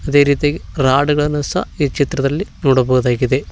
ಅದೇ ರೀತಿಯಾಗಿ ರಾಡ್ ಗಳನ್ನು ಸಹ ಈ ಚಿತ್ರದಲ್ಲಿ ನೋಡಬಹುದಾಗಿದೆ.